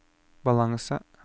balanse